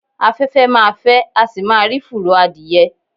Afẹ́fẹ́ ma fẹ́, a sì má rí fùrọ̀ adìyẹ.